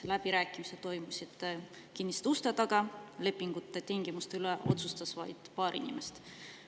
Läbirääkimised toimusid kinniste uste taga, lepingute tingimuste üle otsustas vaid paar inimest.